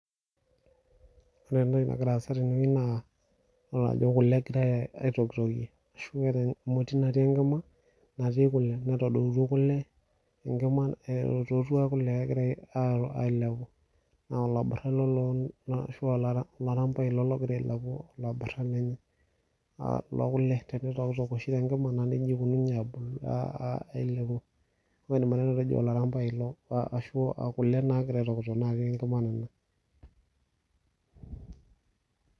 Ore entoki nagira aasa tenewueji naa, idol ajo kule egirai aitokitokie ashu keeta emoti natii enkima, natii kule. Netadoutuo kule, enkima itootua kule egira ailepu. Na olaburra ele ashu olarambai ilo logira ailepu olaburra lenye lokule. Tenitokitok oshi tenkima, na nejia ikununye ailepu. Metaa idim atejo olarambai ilo ashu kule nagira aitokitok natii enkima nena.